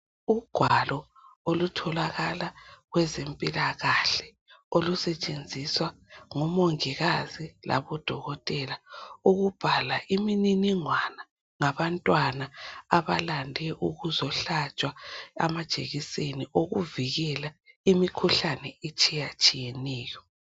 Ugwalo okutholakala kwabezempilakahle olusetshenziswa ngomongikazi labodokotela ukubhala imininingwana ngabantwana abalande ukuzohlatshwa amajekiseni okuvikela imikhuhlane etshiyatshiyeneyo .